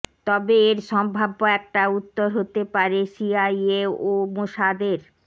তবে এর সম্ভাব্য একটা উত্তর হতে পারে সিআইএ ও মোশাদের